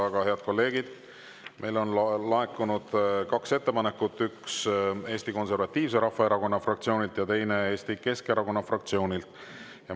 Aga, head kolleegid, meile on laekunud kaks ettepanekut, üks Eesti Konservatiivse Rahvaerakonna fraktsioonilt ja teine Eesti Keskerakonna fraktsioonilt.